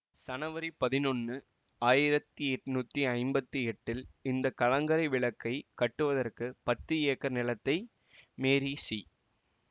சனவரி பதினொன்னு ஆயிரத்தி எட்ணூத்தி ஐம்பத்தி எட்டில் இந்த கலங்கரை விளக்கை கட்டுவதற்கு பத்து ஏக்கர் நிலத்தை மேரி சி